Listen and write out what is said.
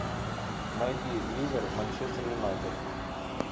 найди ливер манчестер юнайтед